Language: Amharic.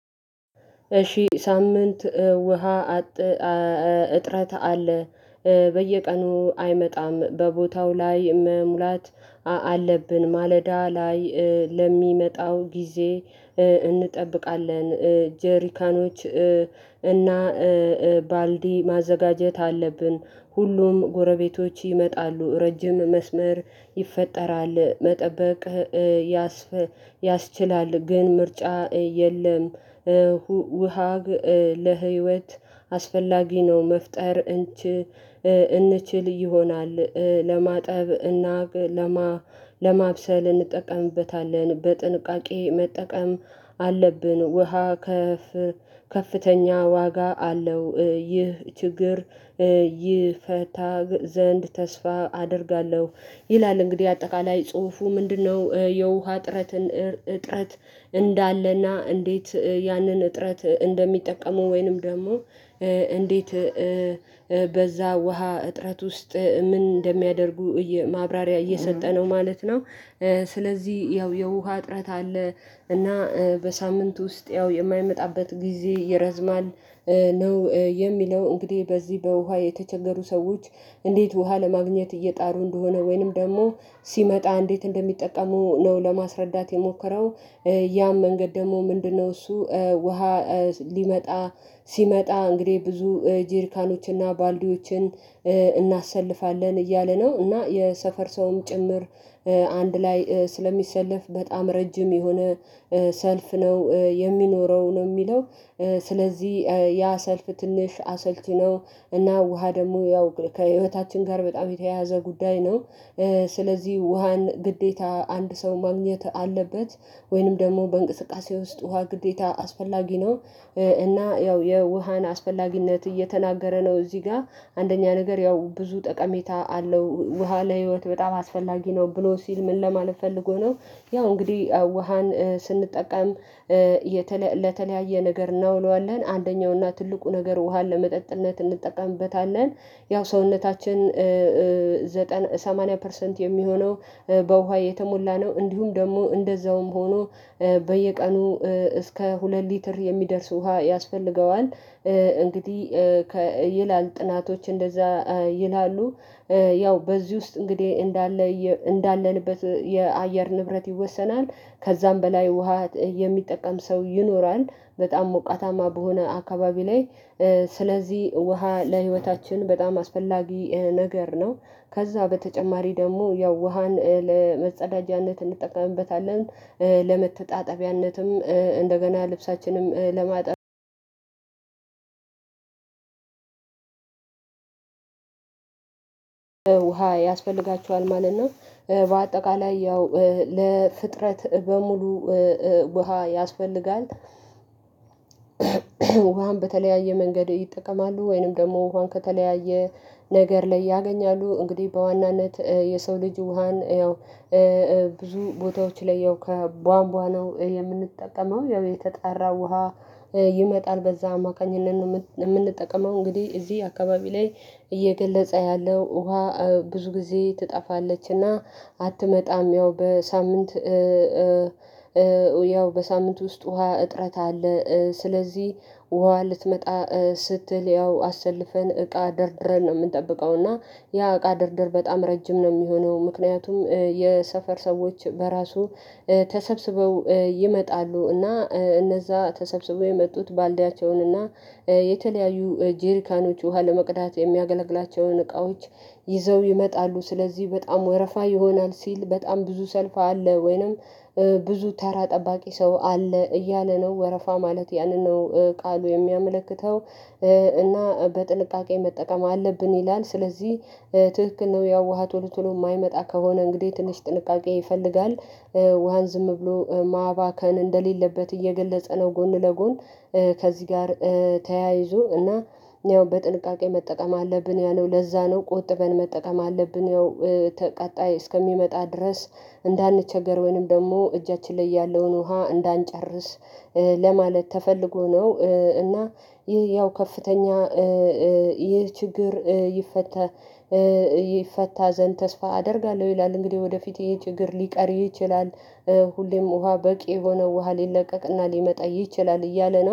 እሺ ሳምንት ውሃ እጥረት አለ። በየቀኑ አይመጣም በቦታው ላይ መሙላት አለብን ማለዳ ላይ ለሚመጣው ጊዜ እንጠብቃለን። ጀሪካኖች እና ባልዲ ማዘጋጀት አለብን ሁሉም ጎረቤቶች ይመጣሉ ረጅም መስመር ይፈጠራል መጠበቅ ያስችላል። ግን ምርጫ የለም ለውሃ ለህይወት አስፈላጊ ነው። መፍጠር እንችል ይሆናል። ለማጠብ እና ለማብሰል እንጠቀምበታለን በጥንቃቄ መጠቀም አለብን። ውሃ ከፍ ከፍተኛ ዋጋ አለው። ይህ ችግር ይፈታ ዘንድ ተስፋ አደርጋለሁ ይላል። እንግዲህ አጠቃላይ ጽሁፉ ምንድነው? የውሃ እጥረትን እጥረት እንዳለና እንዴት ያንን እጥረት እንደሚጠቀሙ ወይንም ደግሞ እንዴት በዛ ውሃ እጥረት ውስጥ ምን እንደሚያደርጉ ማብራሪያ እየሰጠ ነው ማለት ነው። ስለዚህ ያው የውሃ እጥረት አለ እና በሳምንት ውስጥ ያው የማይመጣበት ጊዜ ይረዝማል። ነው የሚለው እንግዲህ በዚህ በውሃ የተቸገሩ ሰዎች እንዴት ውሃ ለማግኘት እየጣሩ እንደሆነ ወይንም ደግሞ ሲመጣ እንዴት እንደሚጠቀሙ ነው ለማስረዳት የሞከረው። ያም መንገድ ደግሞ ምንድነው? እሱ ውሃ ሊመጣ ሲመጣ እንግዲህ ብዙ ጀርካኖችና ባልዲዎችን እናሰልፋለን እያለ ነው። እና የሰፈር ሰውም ጭምር አንድ ላይ ስለሚሰለፍ በጣም ረጅም የሆነ ሰልፍ ነው የሚኖረው ነው የሚለው። ስለዚህ ያ ሰልፍ ትንሽ አሰልቺ ነው። እና ውሃ ደግሞ ያው ከህይወታችን ጋር በጣም የተያያዘ ጉዳይ ነው። ስለዚህ ውሃን ግዴታ አንድ ሰው ማግኘት አለበት ወይንም ደግሞ በእንቅስቃሴ ውስጥ ውሃ ግዴታ አስፈላጊ ነው። እና ያው የውሃን አስፈላጊነት እየተናገረ ነው። እዚህ ጋር አንደኛ ነገር ያው ብዙ ጠቀሜታ አለው ውሃ ለህይወት በጣም አስፈላጊ ነው ብሎ ሲል ምን ለማለት ፈልጎ ነው? ያው እንግዲህ ውሃን ስንጠቀም ለተለያየ ነገር እናውለዋለን አንደኛውና ትልቁ ነገር ውሃን ለመጠጥነት እንጠቀምበታለን። ያው ሰውነታችን ዘጠና ሰማንያ ፐርሰንት የሚሆነው በውሃ የተሞላ ነው። እንዲሁም ደግሞ እንደዛውም ሆኖ በየቀኑ እስከ ሁለት ሊትር የሚደርስ ውሃ ያስፈልገዋል እንግዲህ ይላል ጥናቶች እንደዛ ይላሉ። ያው በዚህ ውስጥ እንግዲህ እንዳለ እንዳለንበት የአየር ንብረት ይወሰናል። ከዛም በላይ ውሃ የሚጠቀም ሰው ይኖራል በጣም ሞቃታማ በሆነ አካባቢ ላይ ስለዚህ ውሃ ለህይወታችን በጣም አስፈላጊ ነገር ነው። ከዛ በተጨማሪ ደግሞ ያው ውሃን ለመጸዳጃነት እንጠቀምበታለን። ለመተጣጠቢያነትም እንደገና ልብሳችንም ለማጠብ ያስፈልጋቸዋል ማለት ነው። በአጠቃላይ ያው ለፍጥረት በሙሉ ውሃ ያስፈልጋል። ውሃን በተለያየ መንገድ ይጠቀማሉ ወይንም ደግሞ ውሃን ከተለያየ ነገር ላይ ያገኛሉ እንግዲህ በዋናነት የሰው ልጅ ውሃን ያው ብዙ ቦታዎች ላይ ያው ከቧንቧ ነው የምንጠቀመው። ያው የተጣራ ውሃ ይመጣል በዛ አማካኝነት ነው የምንጠቀመው። እንግዲህ እዚህ አካባቢ ላይ እየገለጸ ያለው ውሃ ብዙ ጊዜ ትጠፋለች እና አትመጣም። ያው በሳምንት ያው በሳምንት ውስጥ ውሃ እጥረት አለ ስለዚህ ውሃ ልትመጣ ስትል ያው አሰልፈን እቃ ደርድረን ነው የምንጠብቀው። እና ያ እቃ ደርድር በጣም ረጅም ነው የሚሆነው። ምክንያቱም የሰፈር ሰዎች በራሱ ተሰብስበው ይመጣሉ እና እነዛ ተሰብስበው የመጡት ባልዲያቸውን እና የተለያዩ ጄሪካኖች ውሃ ለመቅዳት የሚያገለግላቸውን እቃዎች ይዘው ይመጣሉ ስለዚህ በጣም ወረፋ ይሆናል። ሲል በጣም ብዙ ሰልፍ አለ ወይንም ብዙ ተራ ጠባቂ ሰው አለ እያለ ነው ወረፋ ማለት ያንን ነው ቃሉ የሚያመለክተው። እና በጥንቃቄ መጠቀም አለብን ይላል። ስለዚህ ትክክል ነው ያው ውሃ ቶሎ ቶሎ የማይመጣ ከሆነ እንግዲህ ትንሽ ጥንቃቄ ይፈልጋል። ውሃን ዝም ብሎ ማባከን እንደሌለበት እየገለጸ ነው። ጎን ለጎን ከዚህ ጋር ተያይዞ እና ያው በጥንቃቄ መጠቀም አለብን ያለው ለዛ ነው ቆጥበን መጠቀም አለብን። ያው ቀጣይ እስከሚመጣ ድረስ እንዳንቸገር ወይንም ደግሞ እጃችን ላይ ያለውን ውሃ እንዳንጨርስ ለማለት ተፈልጎ ነው። እና ይህ ያው ከፍተኛ ይሄ ችግር ይፈታ ይፈታ ዘንድ ተስፋ አደርጋለሁ። ይላል እንግዲህ ወደፊት ይሄ ችግር ሊቀር ይችላል። ሁሌም ውሃ በቂ የሆነ ውሃ ሊለቀቅና ሊመጣ ይችላል እያለ ነው